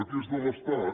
què és de l’estat